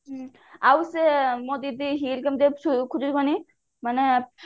ହୁଁ ଆଉ ସେ ମାନେ